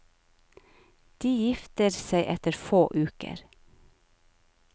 De gifter seg etter få uker.